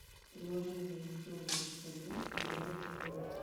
приложение электронный почтальон играть в